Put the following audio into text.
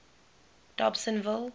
dobsenville